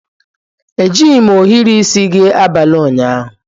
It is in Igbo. Ejighị m ohiri isi gị abalị ụnyaahụ.